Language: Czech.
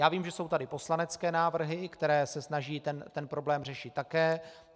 Já vím, že jsou tady poslanecké návrhy, které se snaží ten problém řešit také.